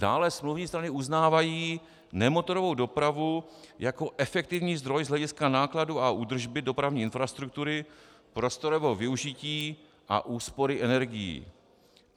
Dále smluvní strany uznávají nemotorovou dopravu jako efektivní zdroj z hlediska nákladů a údržby dopravní infrastruktury, prostorového využití a úspory energií.